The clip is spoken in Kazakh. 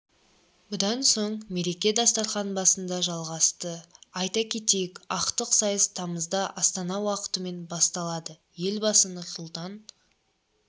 бұдан соң мереке дастархан басында жалғасты айта кетейік ақтық сайыс тамызда астана уақытымен басталады елбасы нұрсұлтан